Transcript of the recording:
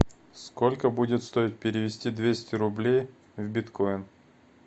сколько будет стоить перевести двести рублей в биткоин